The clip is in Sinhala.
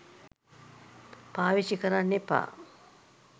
පාවිච්චි කරන්න එපා